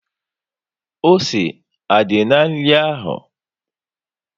Ose á dí na nri ahụ?